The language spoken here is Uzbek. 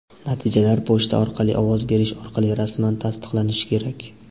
Natijalar pochta orqali ovoz berish orqali rasman tasdiqlanishi kerak.